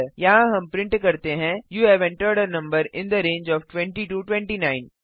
यहाँ हम प्रिंट करते हैं you have entered a number in the range of 20 29